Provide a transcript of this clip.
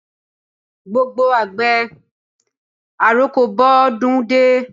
Gbogbo àgbẹ̀, àroko bọ́ dún dé.